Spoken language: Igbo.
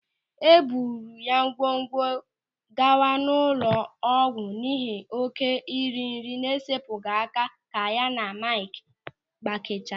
E buru ya ngwangwa gawa ụlọ ọgwụ n'ihi oké iri nri na-esepụghị aka ka ya na Maịkị gbakechara.